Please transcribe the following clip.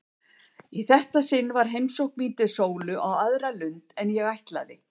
Í þetta sinn var heimsókn mín til Sólu á aðra lund en ég ætlaði.